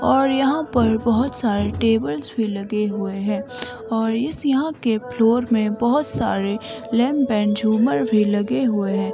और यहां पर बहुत सारे टेबल्स भी लगे हुए हैं और इस यहां के फ्लोर में बहुत सारे लैंप एंड झूमर भी लगे हुए हैं।